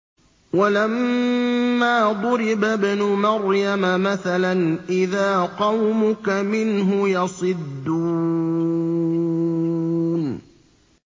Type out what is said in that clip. ۞ وَلَمَّا ضُرِبَ ابْنُ مَرْيَمَ مَثَلًا إِذَا قَوْمُكَ مِنْهُ يَصِدُّونَ